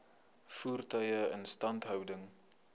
voertuie instandhouding